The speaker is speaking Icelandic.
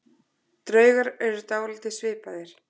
Draugar eru dálítið svipaðir.